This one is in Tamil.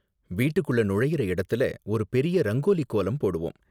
வீட்டுக்குள்ள நுழையுற இடத்துல ஒரு பெரிய ரங்கோலி கோலம் போடுவோம்.